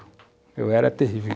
Ah, eu era terrível.